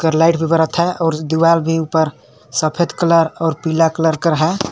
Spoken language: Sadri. एकर लाइट भी बरत हे और दीवाल भी सफेद कलर और पीला कलर है।